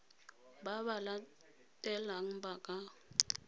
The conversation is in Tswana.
ba ba latelang ba ka